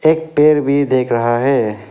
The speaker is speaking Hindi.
एक पेड़ भी देख रहा है।